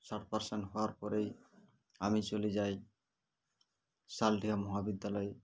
ষাট percent হওয়ার পরেই আমি চলে যাই সালটিয়া মহাবিদ্যালয়ে